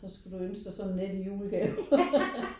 Så skal du ønske dig sådan et net i julegave